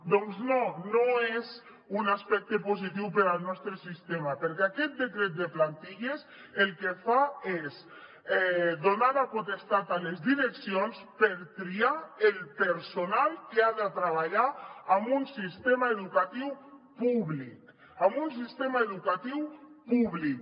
doncs no no és un aspecte positiu per al nostre sistema perquè aquest decret de plantilles el que fa és donar la potestat a les direccions per triar el personal que ha de treballar en un sistema educatiu públic en un sistema educatiu públic